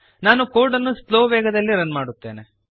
ನಾನು ಕೋಡ್ ಅನ್ನು ಸ್ಲೋ ವೇಗದಲ್ಲಿ ರನ್ ಮಾಡುತ್ತೇನೆ